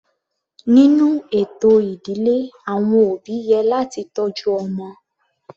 Nínú ètò ìdílé àwọn òbí yẹ láti tọ́jú ọmọ.